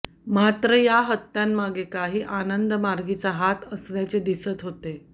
मात्र या हत्यांमागे काही आनंदमार्गीचा हात असल्याचे दिसत होते